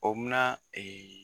O munna